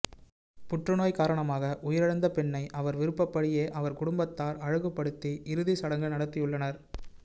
புற்று நோய் காரணமாக உயிரிழந்த பெண்ணை அவர் விருப்பபடியே அவர் குடும்பத்தார் அழகுப்படுத்தி இறுதி சடங்கு நடத்தியுள்ளனர்